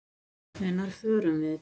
Hvenær förum við?